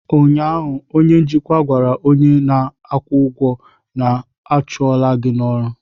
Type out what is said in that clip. ụnyaahụ, onye njikwa gwara onye na-akwụ ụgwọ, a chụọ m gị n'ọrụ!